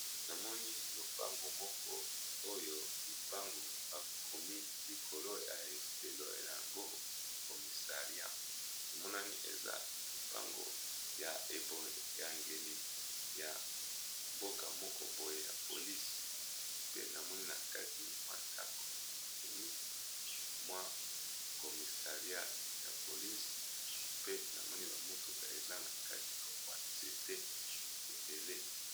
namoni lopango moko oyo lopango bakomi likolo ya efelo lyango comissaria emonani eza lopango ya eboyangeli ya mboka moko boye ya polise pe namoni na kati mwa ntako bakomi mwa komissaria ya polise pe namoni bamotuka eza na kati ya wanzete ebele